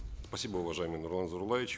спасибо уважаемый нурлан зайроллаевич